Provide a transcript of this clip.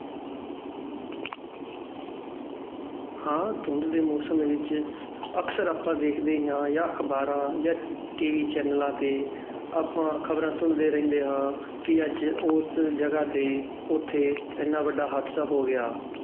ਹਾਂ ਧੁੰਦ ਦੇ ਮੌਸਮ ਵਿੱਚ ਅਕਸਰ ਆਪਾਂ ਵੇਖਦੇ ਹੀ ਹਾਂ ਜਾਂ ਅਖ਼ਬਾਰਾਂ ਜਾਂ ਟੀਵੀ ਚੈਨਲਾਂ ਤੇ ਆਪਾਂ ਖ਼ਬਰਾਂ ਸੁਣਦੇ ਰਹਿੰਦੇ ਹਾਂ ਕਿ ਅੱਜ ਉਸ ਜਗ੍ਹਾ ਤੇ ਉੱਥੇ ਇੰਨਾ ਵੱਡਾ ਹਾਦਸਾ ਹੋ ਗਿਆ